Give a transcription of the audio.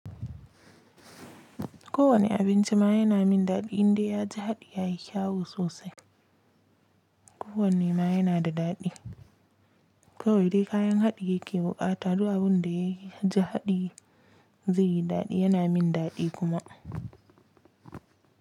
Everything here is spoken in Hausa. Kowane abinci ma yana min daɗi indai ya ji haɗi yayi kyau sosai. Ko wanne ma yana da daɗi. Kawai dai kayan haɗi yake buƙata, duk abunda ya ya ji haɗi zai yi daɗi yana min daɗi kuma.